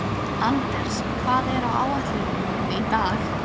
Anders, hvað er á áætluninni minni í dag?